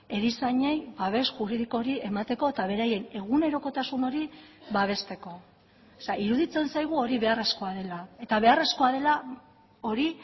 erizainei babes juridiko hori emateko eta beraien egunerokotasun hori babesteko iruditzen zaigu hori beharrezkoa dela eta beharrezkoa dela hori